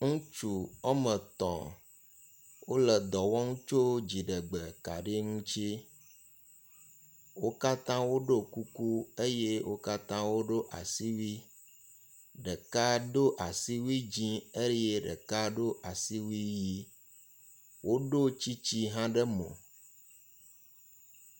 ŋutsu wɔme tɔ̃ wóle dɔwɔm tsó dziɖegbe kaɖi ŋutsi wo katã woɖó kuku eye wó katã woɖó asiwui ɖeka dó asiwui dzĩ eye ɖeka ɖó asiwui yi woɖó tsitsi hã ɖe mò